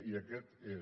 i aquest és